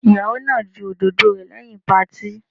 Ìyàwó náà ju òdòdó rẹ̀ lẹ́yìn patí.